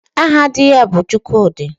Aha di ya bụ Chukwudị